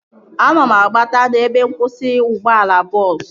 Ana m agbata n'ebe nkwụsị ụgbọala bọọsu